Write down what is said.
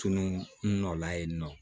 Tunu nɔ la yen nɔ